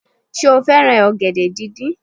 Sé o fẹ́ràn ọ̀gẹ̀dẹ̀ díndín